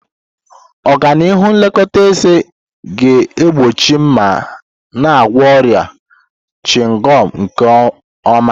Ọganihu nlekọta eze ga-egbochi ma na-agwọ ọrịa chịngọm nke ọma.